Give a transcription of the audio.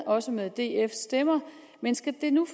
også med dfs stemmer men skal det nu